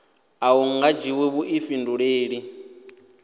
a hu nga dzhiwi vhuḓifhinduleli